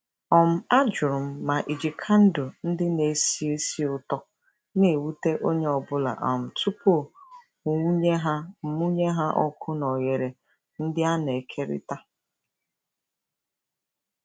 um Ajụrụ m ma iji kandụl ndị na-esi ísì ụtọ na-ewute onye ọ bụla um tupu mụnye ha mụnye ha ọkụ na oghere ndị a na-ekerịta.